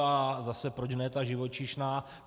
A zase proč ne ta živočišná.